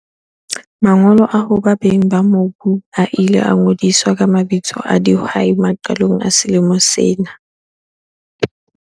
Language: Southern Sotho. Mangolo a hoba beng ba mobu a ile a ngodiswa ka mabitso a dihwai maqalong a selemo sena.